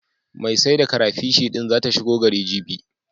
Mai sai da karafish din zata shigo gari, jibi.